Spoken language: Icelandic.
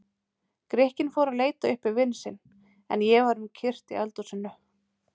Grikkinn fór að leita uppi vin sinn, en ég var um kyrrt í eldhúsinu.